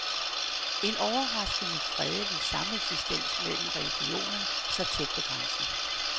En overraskende fredelig sameksistens mellem religionerne så tæt ved den grænsen.